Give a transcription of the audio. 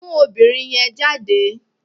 Mú obìnrin yẹn jáde